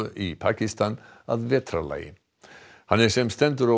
í Pakistan að vetrarlagi hann er sem stendur á